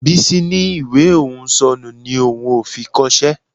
Bísí ní ìwé òun ò sọnù ni òun ò fi kọṣẹ́